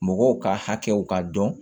Mɔgɔw ka hakɛw ka dɔn